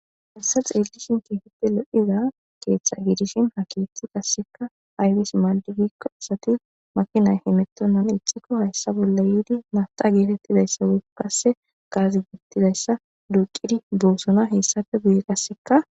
hessa xeellishin keetette lo7iza keeththa giidishin ha keethti qasseka aybis maaldigikko asati makinay himettonnan ixikko hayssa bolla yiidi mata geetettidayssa wukkasse gaazi giittidayssa duuqidi doosona heessafe guye qasseka